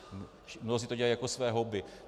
Mnozí to dělají jako své hobby.